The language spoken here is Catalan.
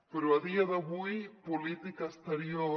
però a dia d’avui política exterior